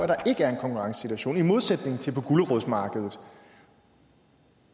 der ikke er en konkurrencesituation i modsætning til på gulerodsmarkedet